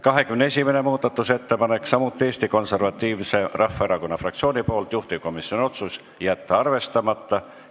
21. muudatusettepanek on samuti Eesti Konservatiivse Rahvaerakonna fraktsioonilt, juhtivkomisjoni otsus: jätta arvestamata.